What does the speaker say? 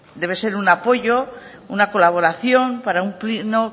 debe ser un apoyo una colaboración para un pleno